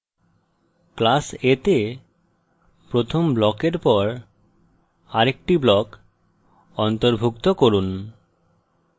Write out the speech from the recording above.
class a তে প্রথম ব্লকের পর আরেকটি block অন্তর্ভুক্ত করুন